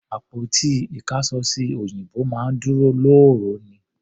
Àpótí ìkáṣọsí òyìnbó máa ń dúró lóòró ni.